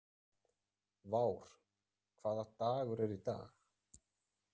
Vár, hvaða dagur er í dag?